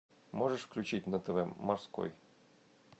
можешь включить на тв морской